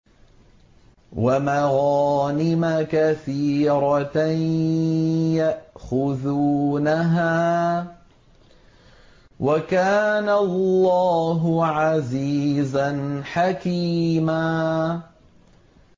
وَمَغَانِمَ كَثِيرَةً يَأْخُذُونَهَا ۗ وَكَانَ اللَّهُ عَزِيزًا حَكِيمًا